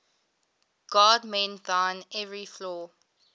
god mend thine every flaw